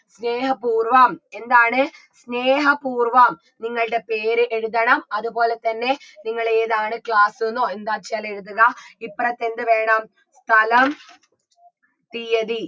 സ്നേഹപൂർവം എന്താണ് സ്നേഹപൂർവ്വം നിങ്ങൾടെ പേര് എഴുതണം അത്പോലെ തന്നെ നിങ്ങൾ ഏതാണ് class ന്നോ എന്താച്ചാൽ എഴുതുക ഇപ്പറത്ത് എന്ത് വേണം സ്ഥലം തീയ്യതി